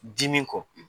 Dimi kɔ